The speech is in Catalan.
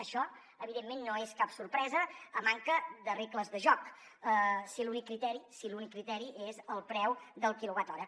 això evidentment no és cap sorpresa a manca de regles de joc si l’únic criteri si l’únic criteri és el preu del quilowatt hora